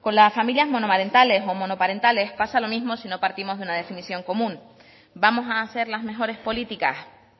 con las familias monomarentales o monoparentales pasa lo mismo si no partimos de una definición común vamos a hacer las mejores políticas